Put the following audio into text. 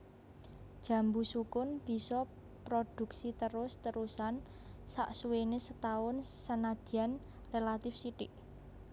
Jambu sukun bisa prodhuksi terus terusan saksuwéné setaun senadyan rélatif sithik